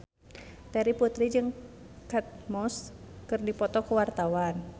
Terry Putri jeung Kate Moss keur dipoto ku wartawan